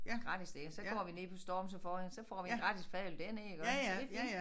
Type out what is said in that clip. Gratis dér så går vi ned på Storms og får en så får vi en gratis fadøl dernede iggå så det fint